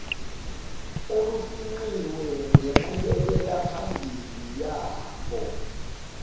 olufingqiwe ngenqubekelaphambili yabo